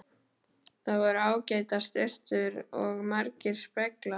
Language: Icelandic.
Þar voru ágætar sturtur og margir speglar!